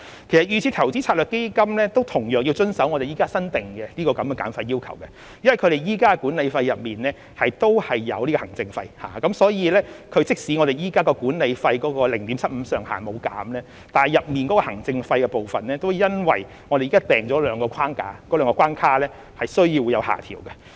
其實，預設投資策略成分基金同樣需要遵守現時新訂立的減費要求，因為其現時的管理費當中亦包括行政費，所以即使現時 0.75% 的管理費上限沒有減少，但其中行政費的部分也因現時訂立的兩個框架、兩個關卡而需要有所下調。